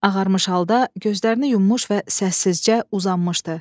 Ağarmış halda gözlərini yummuş və səssizcə uzanmışdı.